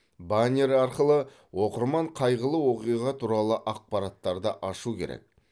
баннер арқылы оқырман қайғылы оқиға туралы ақпараттарды ашуы керек